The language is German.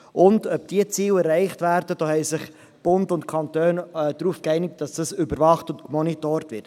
Bund und Kantone haben sich geeinigt, dass überwacht wird, ob diese Ziele erreicht werden, und dass es ein Monitoring gibt.